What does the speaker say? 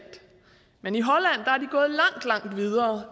men i holland